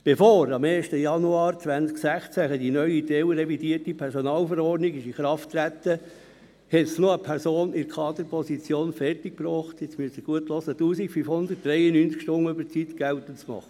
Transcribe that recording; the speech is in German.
Bevor am 1. Januar 2016 die neue teilrevidierte Personalverordnung (PV) in Kraft trat, brachte es noch eine Person in einer Kaderposition zustande – Sie müssen jetzt genau zuhören –, 1593 Stunden Überzeit geltend zu machen.